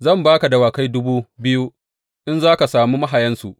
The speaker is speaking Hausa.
Zan ba ka dawakai dubu biyu, in za ka sami mahayansu!